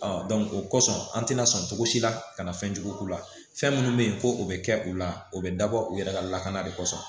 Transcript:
o kɔsɔn an tɛna sɔn cogo si la ka na fɛnjugu k'u la fɛn minnu be yen ko o be kɛ u la o be dabɔ u yɛrɛ ka lakana de kɔsɔn